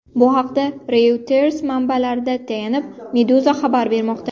Bu haqda Reuters manbalariga tayanib, Meduza xabar bermoqda .